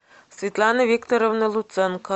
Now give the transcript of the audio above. светлана викторовна луценко